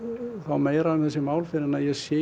meira um þessi mál fyrr en ég sé